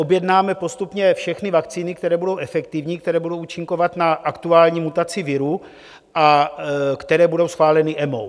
Objednáme postupně všechny vakcíny, které budou efektivní, které budou účinkovat na aktuální mutaci viru a které budou schváleny EMA.